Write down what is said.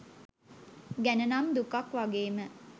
ගැන නම් දුකක් වගේම